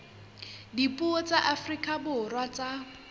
dipuo tsa afrika borwa tsa